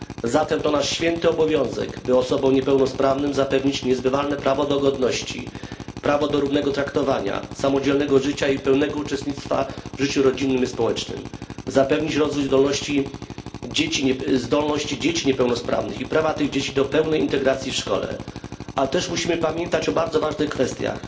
Zatem to nasz święty obowiązek, by osobom niepełnosprawnym zapewnić niezbywalne prawo do godności, prawo do równego traktowania, samodzielnego życia i pełnego uczestnictwa w życiu rodzinnym i społecznym, zapewnić rozwój zdolności dzieci niepełnosprawnych i ich prawo do całkowitej integracji w szkole. Ale też musimy pamiętać o bardzo ważnych kwestiach